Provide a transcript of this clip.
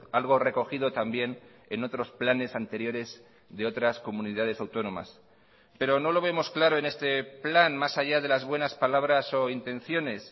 algo recogido también en otros planes anteriores de otras comunidades autónomas pero no lo vemos claro en este plan más allá de las buenas palabras o intenciones